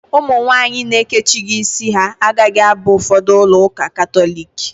Ụmụ nwaanyị na-ekechighi ísí ha agaghị aba ụfọdụ ulọ ụka Katọliki.